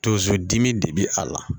Tozo dimi de bɛ a la